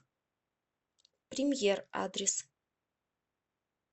премьер адрес